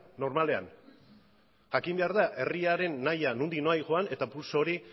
normalean jakin behar da herriaren nahian nondik nora doan eta pulso hori